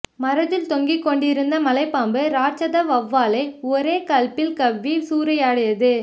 மரத்தில் தொங்கி கொண்டிருந்த மலைப்பாம்பு ராட்சத வௌவாலை ஒரே கல்ப்பில் கவ்வி சூறையாடியது